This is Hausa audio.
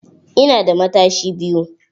Ina da matashi biyu.